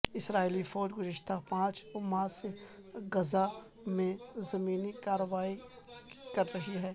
اسرائیلی فوج گزشتہ پانچ ماہ سے غزہ میں زمینی کارروائی کر رہی ہے